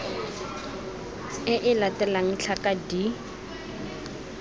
e e latelang tlhaka d